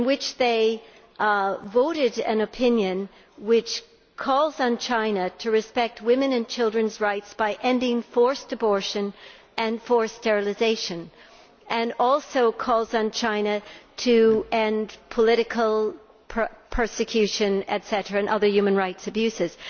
They voted an opinion which calls on China to respect women and children's rights by ending forced abortion and forced sterilisation. It also calls on China to end political persecution and other human rights abuses.